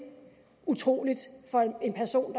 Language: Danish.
utroligt for en person